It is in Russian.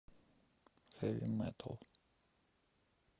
хэви метал